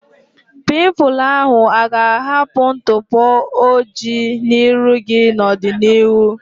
Pimpụl ahu aga ahapụ ntụpọ ojii n'iru gị na ọdịnihu?